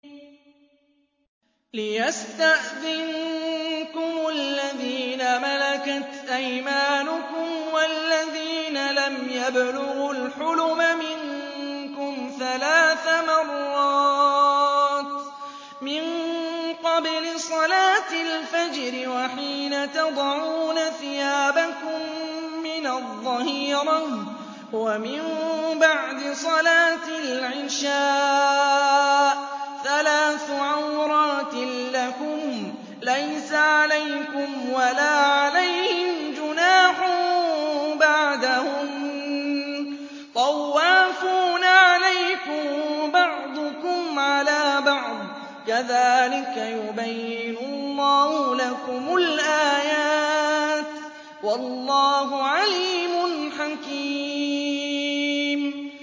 يَا أَيُّهَا الَّذِينَ آمَنُوا لِيَسْتَأْذِنكُمُ الَّذِينَ مَلَكَتْ أَيْمَانُكُمْ وَالَّذِينَ لَمْ يَبْلُغُوا الْحُلُمَ مِنكُمْ ثَلَاثَ مَرَّاتٍ ۚ مِّن قَبْلِ صَلَاةِ الْفَجْرِ وَحِينَ تَضَعُونَ ثِيَابَكُم مِّنَ الظَّهِيرَةِ وَمِن بَعْدِ صَلَاةِ الْعِشَاءِ ۚ ثَلَاثُ عَوْرَاتٍ لَّكُمْ ۚ لَيْسَ عَلَيْكُمْ وَلَا عَلَيْهِمْ جُنَاحٌ بَعْدَهُنَّ ۚ طَوَّافُونَ عَلَيْكُم بَعْضُكُمْ عَلَىٰ بَعْضٍ ۚ كَذَٰلِكَ يُبَيِّنُ اللَّهُ لَكُمُ الْآيَاتِ ۗ وَاللَّهُ عَلِيمٌ حَكِيمٌ